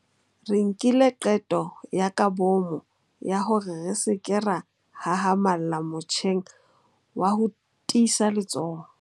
Re nkile qeto ya kabomo ya hore re se ke ra hahamalla motjheng wa ho tiisa letsoho.